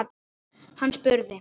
Hann spurði